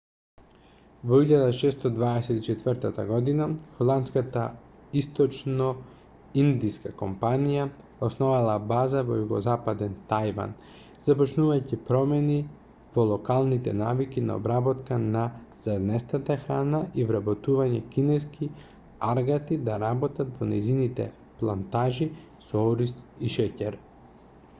во 1624 година холандската источноиндиска компанија основала база во југозападен тајван започнувајќи промена во локалните навики на обработка на зрнестата храна и вработување кинески аргати да работат на нејзините плантажи со ориз и шеќер